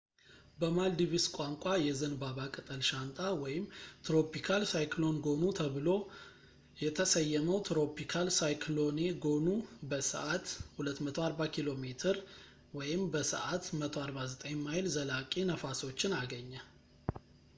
በማልዲቭስ ቋንቋ፣ የዘንባባ ቅጠል ሻንጣ tropical cyclone gonu ተብሎ የተሰየመው ትሮፒካል ሳይክሎኔ ጎኑ፣ በሰዓት 240 ኪ.ሜ በሰዓት 149 ማይል ዘላቂ ነፋሶችን አገኘ